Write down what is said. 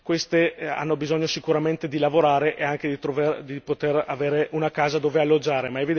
queste hanno bisogno sicuramente di lavorare e anche di poter avere una casa dove alloggiare.